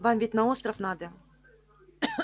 вам ведь на остров надо